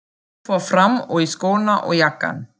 Ég fór fram og í skóna og jakkann.